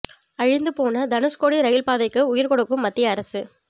அழிந்து போன தனுஷ்கோடி ரயில் பாதைக்கு உயிர் கொடுக்கும் மத்திய அரசு